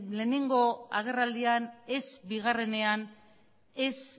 lehenengo agerraldian ez bigarrenean ez